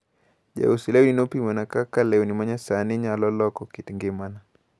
Jaus lewni nopimona kakalewni manyasani nyalo loko kit ngimana.